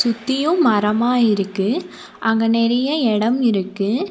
சுத்தியும் மரமா இருக்கு அங்க நெறைய எடம் இருக்கு.